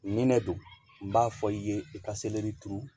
Nin ne don n b'a fɔ i ye i ka selɛri turu